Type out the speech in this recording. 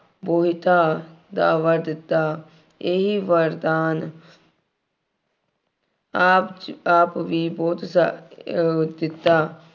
ਮੋਹਿਤਾ ਦਾਅਵਾ ਦਿੱਤਾ। ਇਹੀ ਵਰਦਾਨ ਆਪ, ਆਪ ਵੀ ਬਹੁਤ ਸਾਰੇ ਅਹ ਦਿੱਤਾ।